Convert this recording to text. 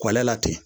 Kɔlɔn la ten